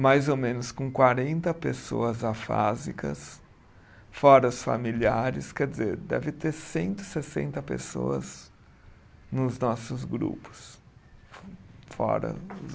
mais ou menos com quarenta pessoas afásicas, fora os familiares, quer dizer, deve ter cento e sessenta pessoas nos nossos grupos, fora os